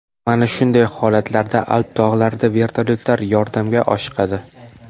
Mana shunday holatlarda Alp tog‘larida vertolyotlar yordamga oshiqadi.